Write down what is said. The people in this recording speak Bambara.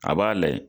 A b'a layɛ